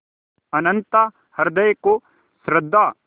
अनंतता हृदय को श्रद्धा